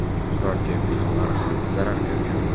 turar-joy binolari ham zarar ko‘rgan.